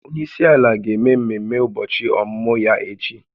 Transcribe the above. Onye isi ala ga-eme mmemme ụbọchị ọmụmụ ya echi